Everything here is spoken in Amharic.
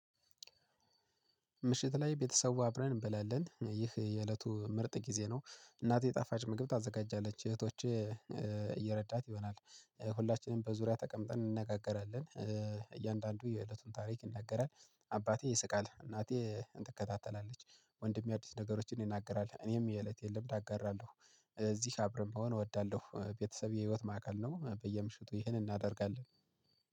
ምሽት ላይ ቤተሰቡ አብረን እንበላለን ይህ የእለቱ ምርጥ ጊዜ ነው። እናቴ ጣፋጭ ምግብ ታዘጋጃለች እህቶቼ እየረዳት ይሆናል። ሁላችንም በዙሪያ ተቀምጠን እንነጋገራለን እያንዳንዱ የእለቱን ታሪክ ይናገራል። አባቴ ይስቃል እናቴ እንትከታተላለች። ወንድሜ አዲስ ነገሮችን ይናገራል እኔም የእለቴን ልምድ አጋራለሁ። እዚህ አብረን ብሆን እወዳለሁ ቤተሰብ የህይወት ማዕከል ነው። በየምሽቱ ይህንን እናደርጋለን